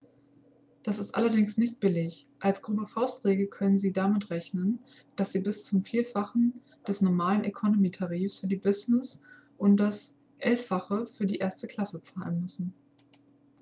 das ist allerdings nicht billig als grobe faustregel können sie damit rechnen dass sie bis zum vierfachen des normalen economy-tarifs für die business und das elffache für die erste klasse zahlen müssen